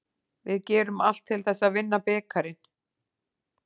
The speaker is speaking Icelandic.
Við gerum allt til þess að vinna bikarinn.